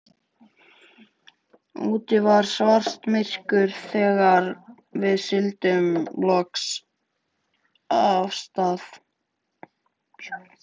Úti var svartamyrkur þegar við sigldum loks af stað.